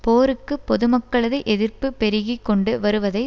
போருக்கு பொதுமக்களது எதிர்ப்பு பெருகி கொண்டு வருவதை